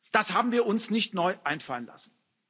Das haben wir uns nicht neu einfallen lassen.